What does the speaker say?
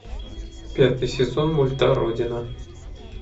пятый сезон мульта родина